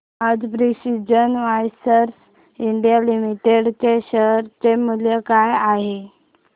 आज precision wires India limited च्या share चे मूल्य काय आहे